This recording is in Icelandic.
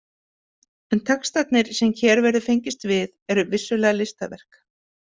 En textarnir sem hér verður fengist við eru vissulega listaverk.